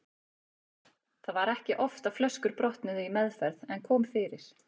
Það var ekki oft að flöskur brotnuðu í meðferð en kom fyrir.